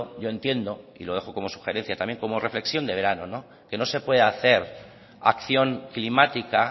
yo entiendo y lo dejo como sugerencia también como reflexión de verano que no se puede hacer acción climática